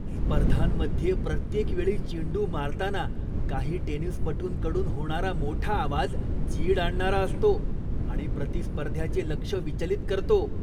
स्पर्धांमध्ये प्रत्येक वेळी चेंडू मारताना काही टेनिसपटूंकडून होणारा मोठा आवाज चीड आणणारा असतो आणि प्रतिस्पर्ध्याचे लक्ष विचलित करतो.